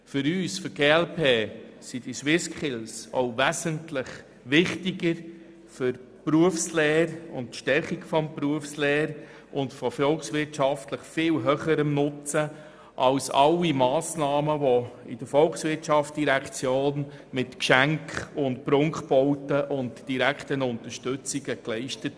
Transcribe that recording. Für uns von der glp sind die SwissSkills auch wesentlich wichtiger für die Stärkung der Berufslehre und von volkswirtschaftlich viel höherem Nutzen als alle Massnahmen der Volkswirtschaftsdirektion, wie etwa Geschenke, Prunkbauten oder direkte Unterstützungen.